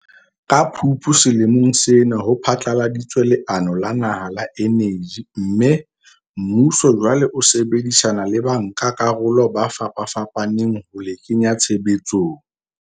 Ka Phupu selemong sena ho phatlaladitswe leano la naha la eneji mme, mmuso jwale o sebedisana le bankakarolo ba fapafapaneng ho le kenya tshebetsong.